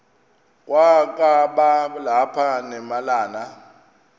kwakaba lapha nemalana